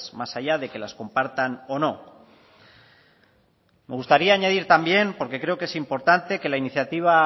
más allá de que las compartan o no me gustaría añadir también porque creo que es importante que la iniciativa